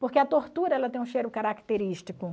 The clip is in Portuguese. Porque a tortura ela tem um cheiro característico.